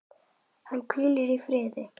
Hann hvíli í friði.